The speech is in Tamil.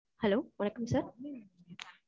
hello வணக்கம் sir.